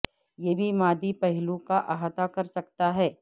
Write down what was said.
یہ بھی مادی پہلو کا احاطہ کر سکتا ہے